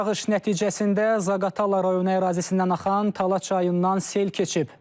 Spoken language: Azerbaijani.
Yağış nəticəsində Zaqatala rayonu ərazisindən axan Tal çayından sel keçib.